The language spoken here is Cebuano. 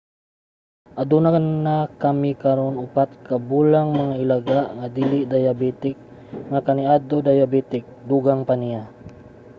"aduna na kami karon 4 ka bulang mga ilaga nga dili dayabetik nga kaniadto dayabetik, dugang pa niya